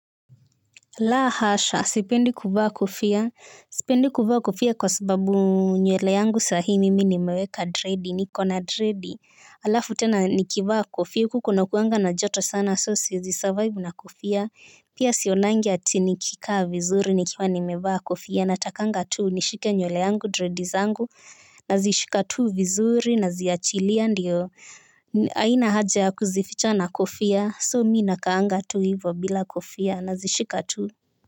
La hasha, sipendi kuvaa kofia, sipendi kuvaa kofia kwa sababu nywele yangu sahi mimi nimeweka dread, nikona dread, alafu tena nikivaa kofia, huku kunakuanga na joto sana so siezi survive na kofia, pia sionangi ati nikikaa vizuri nikiwa nimevaa kofia, natakanga tu nishike nywele yangu dread zangu, nazishika tu vizuri, naziachilia ndiyo, haina haja ya kuzificha na kofia so mimi nakaanga tu hivo bila kofia nazishika tu.